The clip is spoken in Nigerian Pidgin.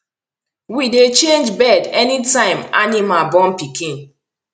we dey change bed anytime animal born pikin